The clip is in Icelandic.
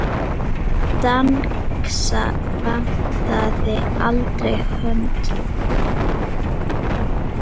Dengsa vantaði aldrei hönd.